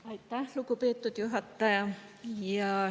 Aitäh, lugupeetud juhataja!